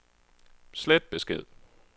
slet besked